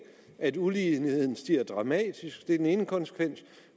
at uligheden stiger dramatisk det er den ene konsekvens